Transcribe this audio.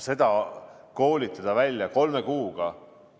Aga koolitada neid välja kolme kuuga?